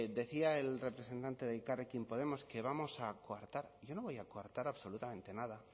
decía el representante de elkarrekin podemos que vamos a coartar yo no voy a coartar absolutamente nada